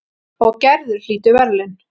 Og Gerður hlýtur verðlaun.